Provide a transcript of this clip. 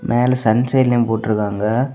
மேல சன் சைலியும் போட்டுருக்காங்க.